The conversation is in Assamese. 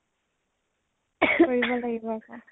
কৰিব লাগিব আকৌ